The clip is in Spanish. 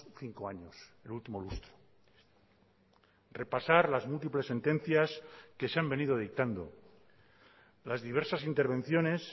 cinco años el último lustro repasar las múltiples sentencias que se han venido dictando las diversas intervenciones